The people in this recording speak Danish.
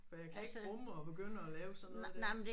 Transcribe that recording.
For jeg kan ikke rumme at begynde at lave sådan noget der